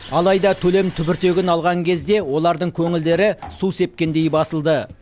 алайда төлем түбіртегін алған кезде олардың көңілдері су сепкендей басылды